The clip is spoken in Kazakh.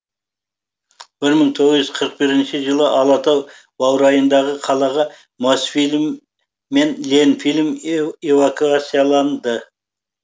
мың тоғыз жүз қырық бірінші жылы алатау баурайындағы қалаға мосфильм мен ленфильм эвакуацияланды